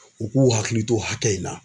U k'u hakili to hakɛ in na